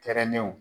Kɛrɛnnenw